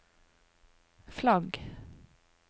flagg